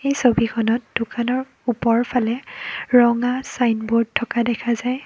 ছবিখনত দোকানৰ ওপৰফালে ৰঙা ছাইনবোৰ্ড থকা দেখা যায়।